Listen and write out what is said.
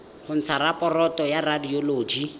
go ntsha raporoto ya radioloji